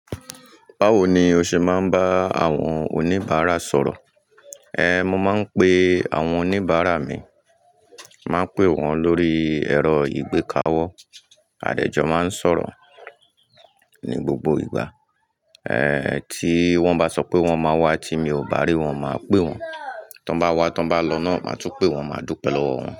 Báwo ni o ṣe máa ń bá àwọn oníbàárà sọ̀rọ̀? Ehn, mo máa ń pe àwọn oníbàárà mi, màá pè wọ́n lórí ẹ̀rọ ìgbéka wọ, àdẹjọ máa ń sọ̀rọ̀ ní gbogbo ìgbà. Ehn, tí wọ́n bá sọ pé wọ́n máa wá tí mi ò bá rí wọ́n, màá pè wọ́n. Tí wọ́n bá wá, tí wọ́n bá lọ náà, màá tún pè wọ́n, màá dúpẹ́ lọ́wọ́ wọn.